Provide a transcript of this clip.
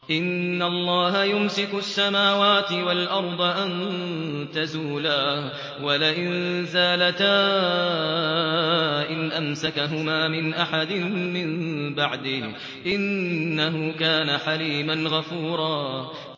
۞ إِنَّ اللَّهَ يُمْسِكُ السَّمَاوَاتِ وَالْأَرْضَ أَن تَزُولَا ۚ وَلَئِن زَالَتَا إِنْ أَمْسَكَهُمَا مِنْ أَحَدٍ مِّن بَعْدِهِ ۚ إِنَّهُ كَانَ حَلِيمًا غَفُورًا